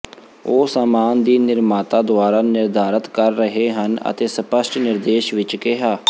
ਉਹ ਸਾਮਾਨ ਦੀ ਨਿਰਮਾਤਾ ਦੁਆਰਾ ਨਿਰਧਾਰਤ ਕਰ ਰਹੇ ਹਨ ਅਤੇ ਸਪਸ਼ਟ ਨਿਰਦੇਸ਼ ਵਿਚ ਕਿਹਾ